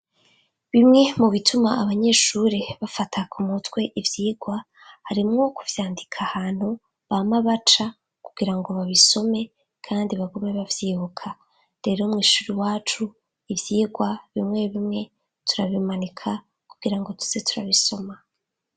Bimwe mu bituma abanyeshuri bafata ku mutwe ivyigwa harimwo kuvyandika ahantu bama baca kugira ngo babisome kandi bagume bavyibuka; rero mw'ishuri iwacu ivyigwa bimwe bimwe turabimanika kugira ngo tuze turabisoma.